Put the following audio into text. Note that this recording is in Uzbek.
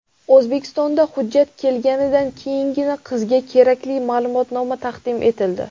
O‘zbekistondan hujjat kelganidan keyingina qizga kerakli ma’lumotnoma taqdim etildi.